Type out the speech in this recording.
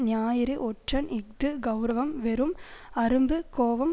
ஞாயிறு ஒற்றன் இஃது கெளரவம் வெறும் அரும்பு கோபம்